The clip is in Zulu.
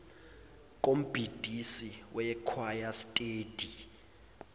kombhidisi wekhwaya steady